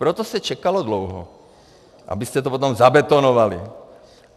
Proto se čekalo dlouho, abyste to potom zabetonovali.